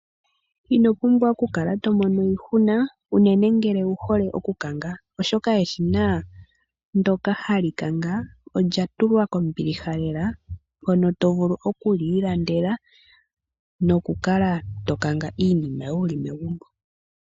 Ino pumbwa okukala to mono iihuna unene ngele owu hole okukanga oshoka eshina ndyoka hali kanga olya tulwa kombiliha lela mono to vulu oku li ilandela nokukala to kanga iinima yoye wu li megumbo.